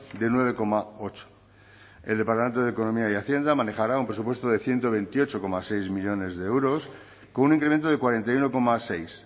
de nueve coma ocho el departamento de economía y hacienda manejará un presupuesto de ciento veintiocho coma seis millónes de euros con un incremento de cuarenta y uno coma seis